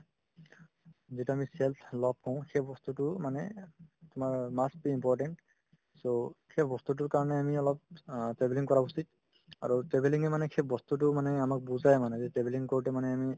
যিটো আমি self love কওঁ সেই বস্তুতো মানে তোমাৰ must be important so সেইবস্তুতোৰ কাৰণে আমি অলপ অ travelling কৰা উচিত আৰু travelling য়ে মানে সেইবস্তুতো মানে আমাক বুজাই মানে যে travelling কৰোতে মানে আমি